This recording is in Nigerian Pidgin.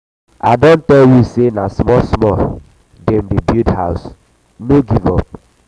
i don tell you sey na small-small dem dey build house no give up.